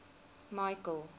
michael